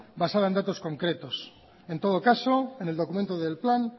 basada en datos concretos en todo caso en el documento del plan